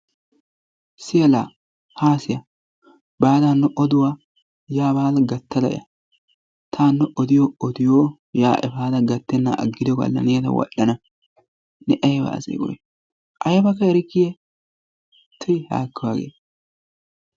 Siya la haa siya, baada hano oduwa yaa baada gattada ya. Ta hano odiyo odiyo yaa efada gattenan aggikko agiddo galla nuna ta wadhdhana ne ayba asee koy aybakka erikkiye? Tuyi haakko hagee!